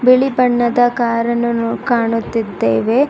ಬಿಳಿ ಬಣ್ಣದ ಕಾರನ್ನು ನಾ ಕಾಣುತ್ತಿದ್ದೇವೆ.